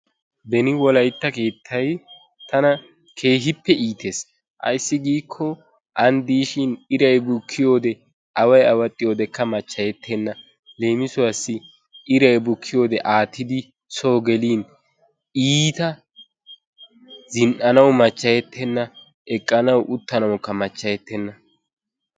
Beni wolaytta keettay tana keehippe iitees, ayssi giikko ani diishshin iray bukkiyode away awaxxiyodekka machayettenna. leemissuwassi iray bukkiyode aattidi so gelin iitta zin'anawu machchayetenna, eqqanawu uttanawukka machchayetenna.